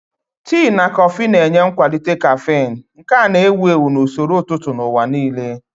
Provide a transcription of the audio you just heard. Tii na kọfị na-enye nkwalite caffeine, nke a na-ewu ewu na usoro ụtụtụ n'ụwa nile.